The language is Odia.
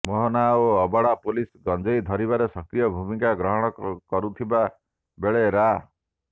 ମୋହନା ଓ ଅଡବା ପୁଲିସ ଗଞ୍ଜେଇ ଧରିବାରେ ସକ୍ରିୟ ଭୂମିକା ଗ୍ରହଣ କରୁଥିବା ବେଳେ ରା